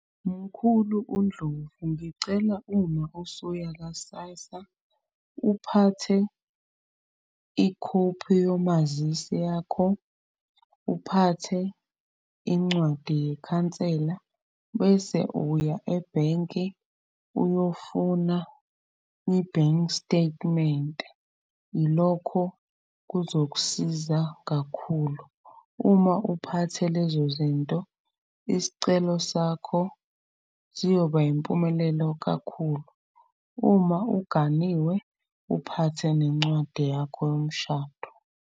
Mkhulu uNdlovu ngicela uma usuya ka-SASSA uphathe ikhophi yomazisi yakho, uphathe incwadi yekhansela. Bese uya ebhenki uyofuna i-bank statement, ilokho kuzokusiza kakhulu. Uma uphathe lezo zinto isicelo sakho siyoba impumelelo kakhulu. Uma uganiwe uphathe nencwadi yakho yomshado.